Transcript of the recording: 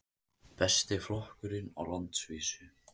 Besti flokkurinn á landsvísu